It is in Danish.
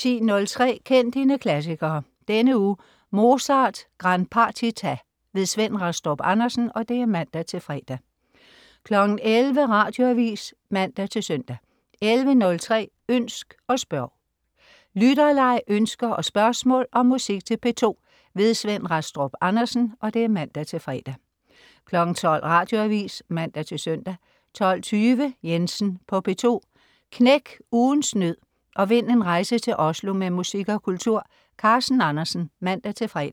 10.03 Kend dine klassikere. Denne uge: Mozarts Gran Partita. Svend Rastrup Andersen (man-fre) 11.00 Radioavis (man-søn) 11.03 Ønsk og spørg. spørg. Lytterleg, ønsker og spørgsmål om musik til P2. Svend Rastrup Andersen (man-fre) 12.00 Radioavis (man-søn) 12.20 Jensen på P2. Knæk ugens nød og vind en rejse til Oslo med musik og kultur. Carsten Andersen (man-fre)